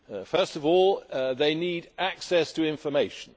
First of all, they need access to information.